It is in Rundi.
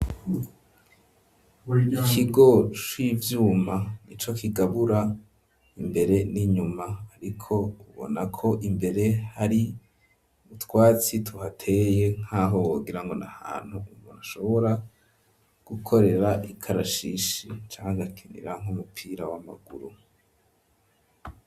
Ikigo c'ivyuma nico kigabura imbere n'inyuma ,ariko ubona ko imbere hari utwatsi tuhateye nk'aho bogira ngo na hantu bashobora gukorera ikarashishi, canke bakinira nk'umupira w'amaguru.